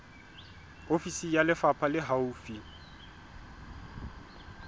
ofisi ya lefapha le haufi